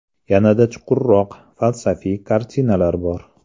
Yanada chuqurroq, falsafiy kartinalar bor.